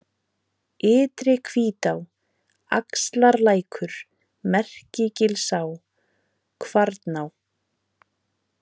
Ytri-Hvítá, Axlarlækur, Merkigilsá, Kvarná